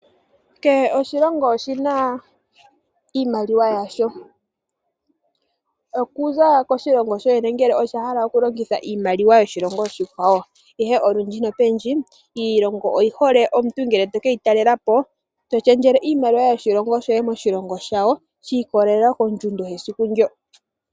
Keshe oshilongo oshina iimaliwa yasho, okuza koshilongo shoye ngele osha hala oku longitha iimaliwa yoshilongo oshikwawo ihe olundji nopendji iilongo, oyi hole omuntu ngele to keyi talela po toshendjele iimaliwa yoshilongo shoye moshilongo shawo shi ikololela kondjundo yesiku ndyo.